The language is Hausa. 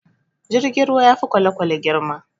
Jirgin ruwa ya fi kwalekwale girma